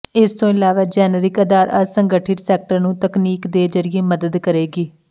ਇਸ ਤੋਂ ਇਲਾਵਾ ਜੈਨਰਿਕ ਆਧਾਰ ਅਸੰਗਠਿਤ ਸੈਕਟਰ ਨੂੰ ਤਕਨੀਕ ਦੇ ਜ਼ਰੀਏ ਮਦਦ ਕਰੇਗੀ